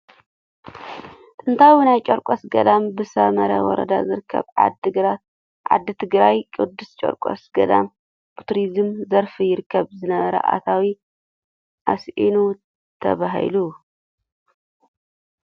ጥንታዊ ናይ ጨርቆስ ገዳም ብሳምረ ወረዳ ዝርከብ ዓዲ ትግራይ ቅዱስ ጨርቆስ ገዳም ብቱሪዝም ዘርፍ ይርከብ ዝነበረ ኣታዊ ኣስኢኑ ተባሂሉ ።